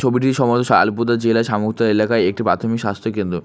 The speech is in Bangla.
এলাকায় একটি প্রাথমিক স্বাস্থ্য কেন্দ্র।